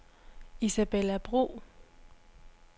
Isabella Bro